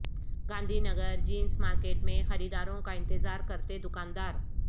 Gandhi Nagar jeans market میں خریداروں کا انتظار کرتے دکاندار